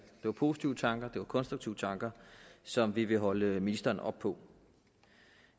var positive tanker det var konstruktive tanker som vi vil holde ministeren op på